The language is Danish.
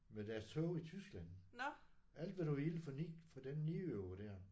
Med deres toge i Tyskland. Alt hvad du ville for 9 for den 9 euro der